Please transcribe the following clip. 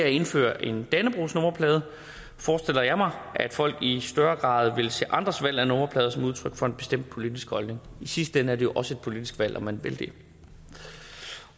indføres en dannebrogsnummerplade forestiller jeg mig at folk i større grad vil se andres valg af nummerplade som udtryk for en bestemt politisk holdning og i sidste ende er det jo også et politisk valg om man vil det